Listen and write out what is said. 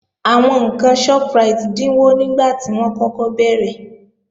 Àwọn ǹkan Shoprite dínwó nígbàtí wọ́n kọ́kọ́ bẹ̀rẹ̀